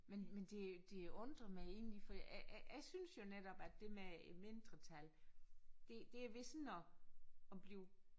Men men det det undrer mig egentlig for jeg jeg jeg synes jo netop at det med mindretallet det det er ved sådan at at blive